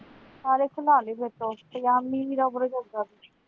ਸਾਰੇ ਸਲ੍ਹਾਬ ਗੇ, ਪਜਾਮੀ